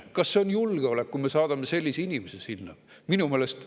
Kas see on julgeolek, kui me saadame sellise inimese sinna?